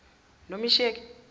nomesheke